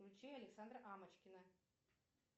включи александра амочкина